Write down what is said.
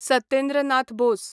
Satyendra Nath Bose